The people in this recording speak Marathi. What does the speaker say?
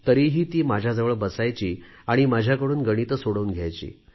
तरीही ती माझ्याजवळ बसायची आणि माझ्याकडून गणिते सोडवून घ्यायची